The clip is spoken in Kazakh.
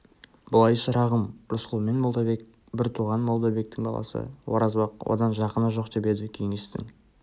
былай шырағым рысқұл мен молдабек бір туған молдабектің баласы оразбақ одан жақыны жоқ деп еді кеңестің